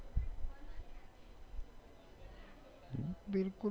બિલકુલ